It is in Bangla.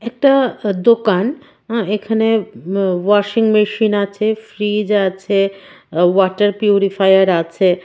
একটা দোকান এখানে আ-ওয়াশিং মেশিন আছে ফ্রিজ আছে আ-ওয়াটার পিউরিফায়ার আছে.